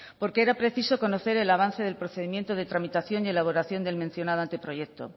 porque era preciso conocer el avance del procedimiento de tramitación y elaboración del mencionado anteproyecto